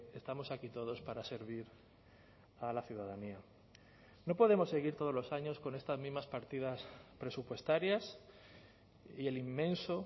estamos aquí todos para servir a la ciudadanía no podemos seguir todos los años con estas mismas partidas presupuestarias y el inmenso